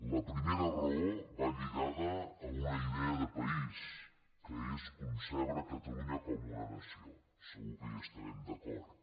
la primera raó va lligada a una idea de país que és concebre catalunya com una nació segur que hi estarem d’acord